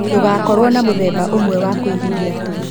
Ndũgakorũo na mũthemba ũmwe wa kũigithia tu.